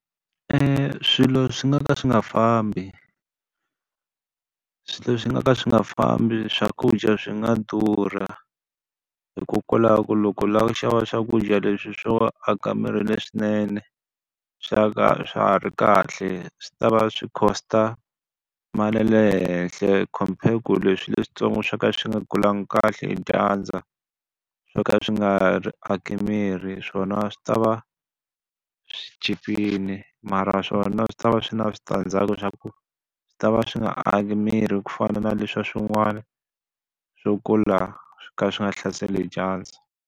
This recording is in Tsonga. Swilo swi nga ka swi nga fambi. Swilo swi nga ka swi nga fambi swakudya swi nga durha, hikokwalaho ku loko u lava ku xava swakudya leswi swo aka miri leswinene, swa swa ha ri kahle swi ta va swi cost-a mali ya le henhla compared ku leswi leswintsongo swo ka swi nga kulangi kahle hi dyandza, swo ka swi nga ri aki miri swona a swi ta va swi chipile mara swona swi ta va swi ri na switandzhaku swa ku swi ta va swi nga aki miri ku fana na leswiya swin'wana swo kula swi kha swi nga hlaseriwi hi dyandza.